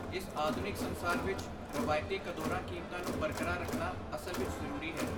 ਇਸ ਆਧੁਨਿਕ ਸੰਸਾਰ ਵਿੱਚ ਰਵਾਇਤੀ ਕਦੋਂਰਾਂ ਕੀਮਤਾਂ ਨੂੰ ਬਰਕਰਾਰ ਰੱਖਣਾ ਅਸਲ ਵਿੱਚ ਜ਼ਰੂਰੀ ਹੈ